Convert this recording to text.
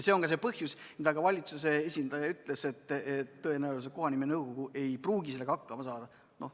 See on ka põhjus, miks valitsuse esindaja ütles, et kohanimenõukogu ei pruugi sellega hakkama saada.